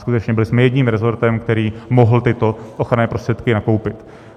Skutečně byli jsme jediným rezortem, který mohl tyto ochranné prostředky nakoupit.